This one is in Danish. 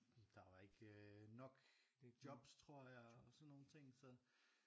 Der var ikke øh nok jobs tror jeg og sådan nogle ting så